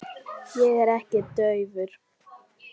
Ég er ekkert daufur.